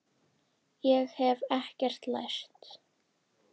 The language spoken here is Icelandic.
Ég hef ekkert lært.